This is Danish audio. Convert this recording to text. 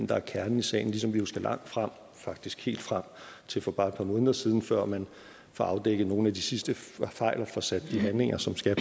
der er kernen i sagen ligesom vi jo skal langt frem faktisk helt frem til for bare et par måneder siden før man får afdækket nogle af de sidste fejl og får sat de handlinger som skal